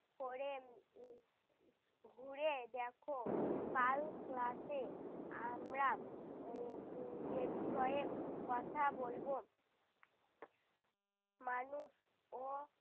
করে উহ উহ ঘুরে দেখো কাল class এ আমরা উহ এ বিষয়ে কথা বলবো। মানুষ ও